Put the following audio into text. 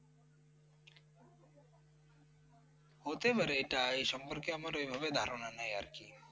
হতে পারে এটা এ সম্পর্কে আমার ঐ ভাবে ধারণা নেই আর কি